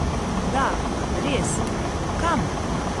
Da, res, kam?